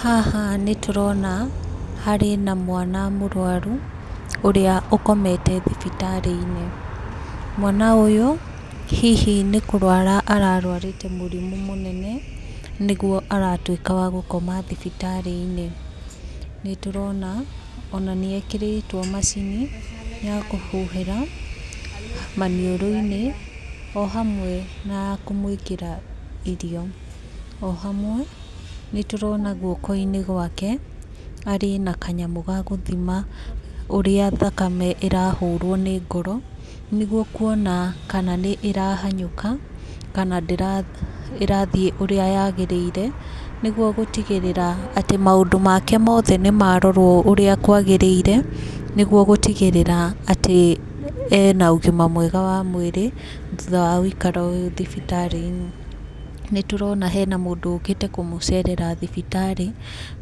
Haha nĩ tũrona, harĩ na mwana mũrũaru, ũrĩa ũkomete thibitarĩ-inĩ. Mwana ,ũyũ, hihi nĩ kũrũara ararũarĩte mũrimũ mũnene, nĩguo aratuĩka wa gũkoma thibitarĩ-inĩ. Nĩ tũrona, ona nĩ ekĩrĩtwo macini, ya kũhuhĩra maniũrũ-inĩ, o hamwe na kũmũĩkĩra irio. O hamwe, nĩ tũrona guoko-inĩ gwake, arĩ na kanyamũ ga kũthima ũrĩa thakame ĩrahũrwo nĩ ngoro, nĩguo kuona kana nĩ ĩrahanyũka, kana ĩrathiĩ ũrĩa yagĩrĩire, nĩguo gũtigĩrĩra atĩ maũndũ make mothe nĩ marorwo ũrĩa kwagĩrĩire, nĩguo gũtigĩrĩra atĩ ena ũgima mwega wa mwĩrĩ, thutha wa gũikara ũũ thibitarĩ-inĩ. Nĩ tũrona hena mũndũ ũkĩte kũmũcerera thibitarĩ,